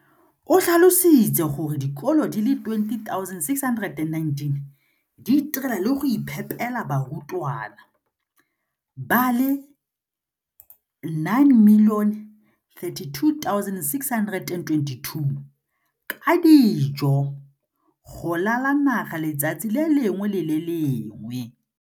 O tlhalositse gore dikolo di le 20 619 di itirela le go iphepela barutwana ba le 9 032 622 ka dijo go ralala naga letsatsi le lengwe le le lengwe.